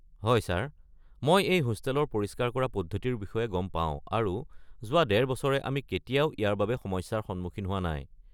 হয় ছাৰ, মই এই হোষ্টেলৰ পৰিস্কাৰ কৰা পদ্ধতিৰ বিষয়ে গম পাওঁ আৰু যোৱা ডেৰ বছৰে আমি কেতিয়াও ইয়াৰ বাবে সমস্যাৰ সন্মুখীন হোৱা নাই।